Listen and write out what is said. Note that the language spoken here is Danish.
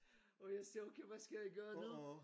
Og jeg siger okay hvad skal jeg gøre nu?